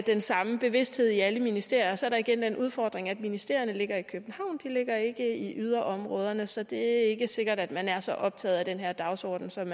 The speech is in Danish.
den samme bevidsthed i alle ministerier og så er der igen den udfordring at ministerierne ligger i københavn de ligger ikke i yderområderne så det er ikke sikkert at man er så optaget af den her dagsorden som